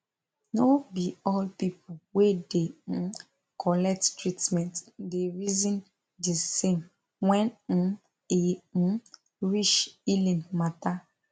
no be all people wey da um collect treatment da reason de same when um e um reach healing matter